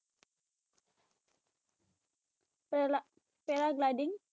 Paragliding